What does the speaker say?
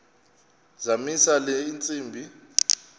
zamisa le ntsimbi